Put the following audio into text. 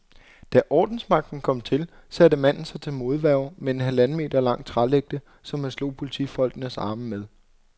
Da ordensmagten kom til, satte manden sig til modværge med en halvanden meter lang trælægte, som han slog politifolkenes arme med.